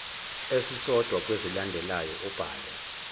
esisodwa kwezilandelayo ubhale